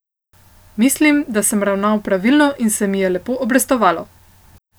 Mislim, da sem ravnal pravilno in se mi je lepo obrestovalo.